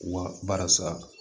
Wa baara sa